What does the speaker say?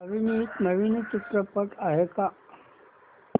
अभिनीत नवीन चित्रपट आहे का